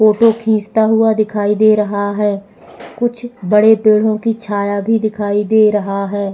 Photo खींचता हुआ दिखाई दे रहा है कुछ बड़े पेड़ों की छाया भी दिखाई दे रहा है।